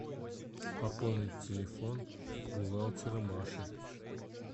пополнить телефон бухгалтера маши